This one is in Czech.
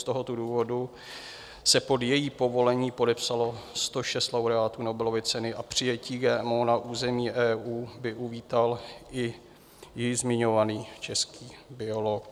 Z tohoto důvodu se pod její povolení podepsalo 106 laureátů Nobelovy ceny a přijetí GMO na území EU by uvítal i již zmiňovaný český biolog.